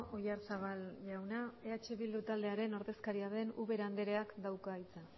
oyarzabal jauna eh bildu taldearen ordezkaria den ubera andreak dauka hitza